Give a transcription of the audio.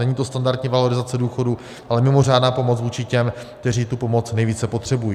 Není to standardní valorizace důchodů, ale mimořádná pomoc vůči těm, kteří tu pomoc nejvíce potřebují.